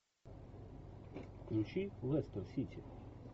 включи лестер сити